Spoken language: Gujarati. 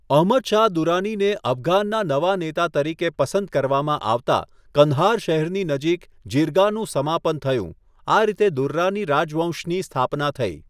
અહમદ શાહ દુરાનીને અફઘાનના નવા નેતા તરીકે પસંદ કરવામાં આવતા કંદહાર શહેરની નજીક જીર્ગાનું સમાપન થયું, આ રીતે દુર્રાની રાજવંશની સ્થાપના થઈ.